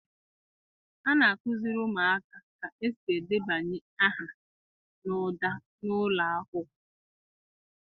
A na-akụziri ụmụaka ka esi edebanye aha n'ụda n'ụlọ akwụkwọ.